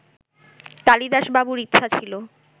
কালিদাসবাবুর ইচ্ছা ছিল